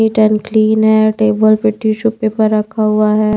NEET and clean है table पर tissue paper रखा हुआ है।